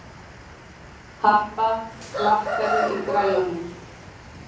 Harpa, lækkaðu í græjunum.